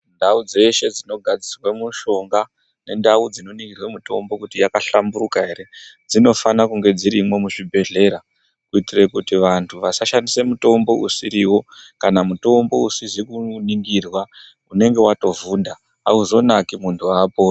Ndau dzeshe dzinogadzirwa mushonga nendau dzinoningirwa mutombo kuti yakahlamburuka here dzinofana kunge dzirimo muzvibhehleya kuitira kuti vantu vasashandise mutombo usiriwo kana mutombo usizi kuningirwa unenge watovhunda hauzonaki muntu haaponi.